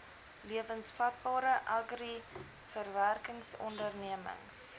lewensvatbare agri verwerkingsondernemings